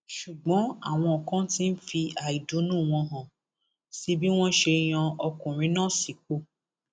ṣùgbọn àwọn kan ti ń fi àìdùnnú wọn hàn sí bí wọn ṣe yan ọkùnrin náà sípò